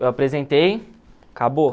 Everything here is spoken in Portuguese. Eu apresentei, acabou.